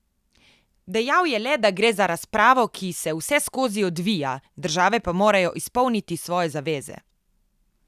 Dejal je le, da gre za razpravo, ki se vseskozi odvija, države pa morajo izpolniti svoje zaveze.